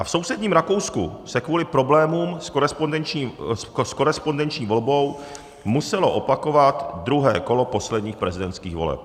A v sousedním Rakousku se kvůli problémům s korespondenční volbou muselo opakovat druhé kolo posledních prezidentských voleb.